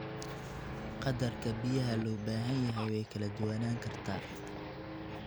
Qadarka biyaha loo baahan yahay way kala duwanaan kartaa.